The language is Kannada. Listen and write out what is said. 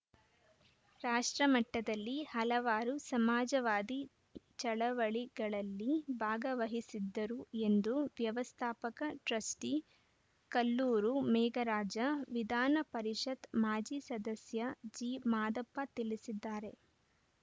ರಾಷ್ಟ್ರ ಮಟ್ಟದಲ್ಲಿ ಹಲವಾರು ಸಮಾಜವಾದಿ ಚಳವಳಿಗಳಲ್ಲಿ ಭಾಗವಹಿಸಿದ್ದರು ಎಂದು ವ್ಯವಸ್ಥಾಪಕ ಟ್ರಸ್ಟಿಕಲ್ಲೂರು ಮೇಘರಾಜ ವಿಧಾನ ಪರಿಷತ್‌ ಮಾಜಿ ಸದಸ್ಯ ಜಿ ಮಾದಪ್ಪ ತಿಳಿಸಿದ್ದಾರೆ